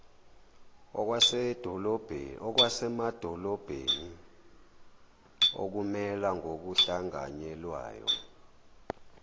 okwasemadolobheni okumela ngokuhlanganyelwayo